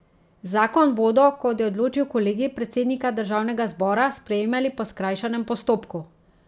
Zakon bodo, kot je odločil kolegij predsednika državnega zbora, sprejemali po skrajšanem postopku.